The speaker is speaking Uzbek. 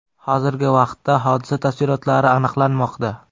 Hozirgi vaqtda hodisa tafsilotlari aniqlanmoqda.